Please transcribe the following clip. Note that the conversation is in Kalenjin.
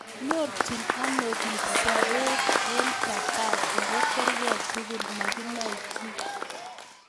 Nyorchiin anoo piik sobep eng japan ago kerkei tugul ...makinae chii